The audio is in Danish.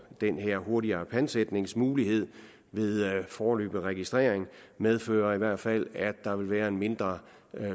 den her hurtigere pantsætningsmulighed ved foreløbig registrering medfører i hvert fald at der vil være en mindre